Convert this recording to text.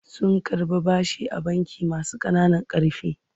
Sun karɓi bashi a bankin masu ƙananan ƙarfi.